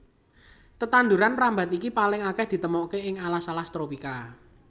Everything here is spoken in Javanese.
Tetanduran mrambat iki paling akèh ditemokaké ing alas alas tropika